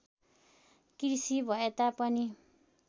कृषि भएता पनि